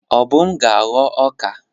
Obum ga-aghọ ọka.